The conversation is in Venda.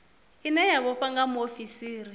ine ya vhofha nga muofisiri